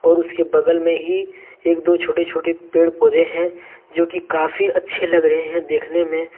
उसके बगल मे ही एक दो छोटे छोटे पेड पौधे है जो कि काफी अच्छे लग रहे है देखने मे--